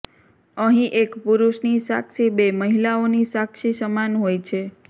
અહીં એક પુરુષની સાક્ષી બે મહિલાઓની સાક્ષી સમાન હોય છે